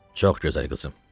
Çox gözəl, qızım.